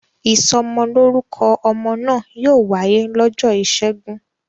Ìsọmọlórúkọ ọmọ náà yóò wáyé lọ́jọ́ ìṣẹ́gun.